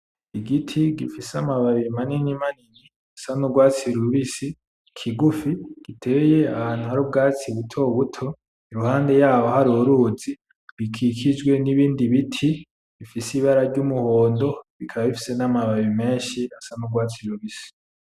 Igiti gifise amababi manini manini ,kigufi, giteye ahantu hari ubwatsi butobuto iruhande yaho hari uruzi rukikijwe nibindi biti bifise ibara ry'umuhondo bikaba bifise n'amababi meshi asa n'urwatsi rubisi